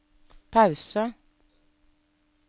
pause